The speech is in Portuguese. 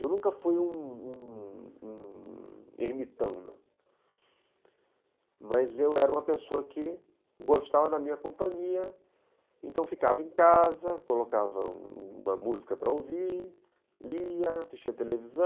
Eu nunca fui um um ermitão, né, mas eu era uma pessoa que gostava da minha companhia, então ficava em casa, colocava uma música para ouvir, lia, assistia televisão.